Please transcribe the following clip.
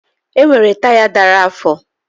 Enwere taya dara afọ